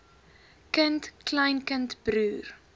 kind kleinkind broer